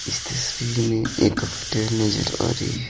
इस तस्वीर में एक होटेल नजर आ रही है।